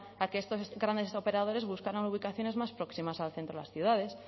a que estos grandes operadores buscaran ubicaciones más próximas al centro de las ciudades